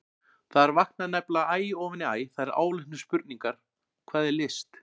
Þar vakna nefnilega æ ofan í æ þær áleitnu spurningar: Hvað er list?